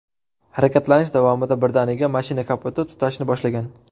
Harakatlanish davomida birdaniga mashina kapoti tutashni boshlagan.